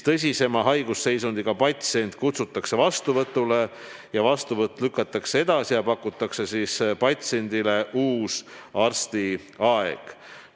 Tõsisema haigusseisundiga patsient kutsutakse vastuvõtule või lükatakse vastuvõtt edasi ja pakutakse patsiendile uus arstiaeg.